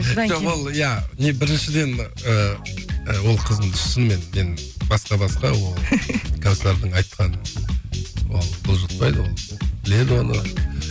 біріншіден ііі ол қызымды шынымен мен басқа басқа ол кәусәрдың айтқаны ол бұлжытпайды ол біледі оны